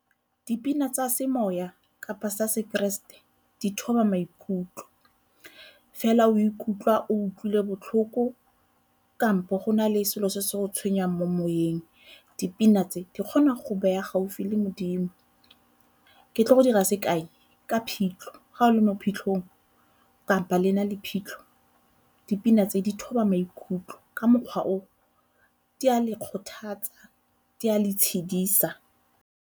Dipina tsa semoya kapa sa sekeresete di thoba maikutlo fela o ikutlwa o utlwile botlhoko kampo go na le selo se se go tshwenyang mo moyeng, dipina tse di kgona go beya gaufi le modimo. Ke tlile go dira sekai ka phitlho, ga o le mo phitlhong kapa le na le phitlho, dipina tse di thoba maikutlo ka mokgwa o di a le kgothatsa, di a le tshedisa.